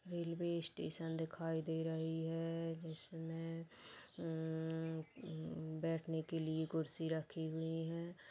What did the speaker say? Railway station दिखाई दे रही है जिसमे अ अ अ बैठने के लिए कुर्सी रखी हुई है।